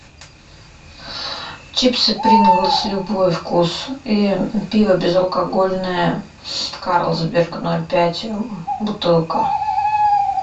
чипсы принглс любой вкус и пиво безалкогольное карлсберг ноль пять бутылка